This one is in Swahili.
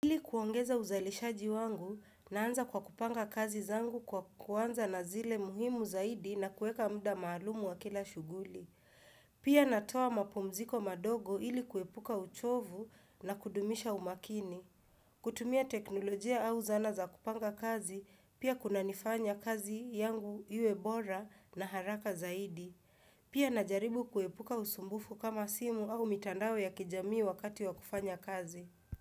Ili kuongeza uzalishaji wangu, naanza kwa kupanga kazi zangu kwa kuanza na zile muhimu zaidi na kueka muda maalumu wa kila shughuli. Pia natoa mapumziko madogo ili kuepuka uchovu na kudumisha umakini. Kutumia teknolojia au zala za kupanga kazi, pia kunanifanya kazi yangu iwe bora na haraka zaidi. Pia najaribu kuepuka usumbufu kama simu au mitandao ya kijamii wakati wa kufanya kazi.